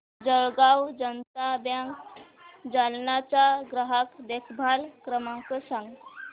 Jalgaon Janata bank Jalna चा ग्राहक देखभाल क्रमांक सांग